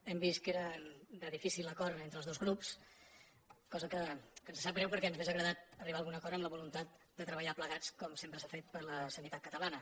hem vist que eren de difícil acord entre els dos grups cosa que ens sap greu perquè ens hauria agradat arribar a algun acord amb la voluntat de treballar plegats com sem·pre s’ha fet per la sanitat catalana